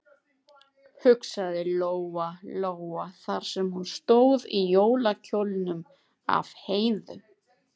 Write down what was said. hugsaði Lóa Lóa þar sem hún stóð í jólakjólnum af Heiðu.